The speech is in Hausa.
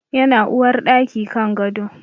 Yana uwarɗaki kan gado